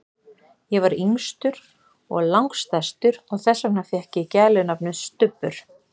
Ég var yngstur og lang stærstur og þess vegna fékk ég gælunafnið, Stubbur.